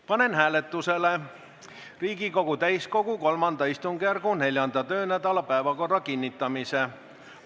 Panen hääletusele Riigikogu täiskogu III istungjärgu 4. töönädala päevakorra kinnitamise.